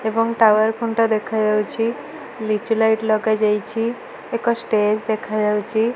ଏବଂ ଟାୱାର ଖୁଣ୍ଟ ଦେଖାଯାଉଛି ଲିଚୁ ଲାଇଟ୍ ଲଗାଯାଇଛି ଏକ ଷ୍ଟେଜ ଦେଖାଯାଉଛି।